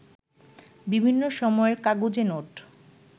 বিভিন্ন সময়ের কাগুজে নোট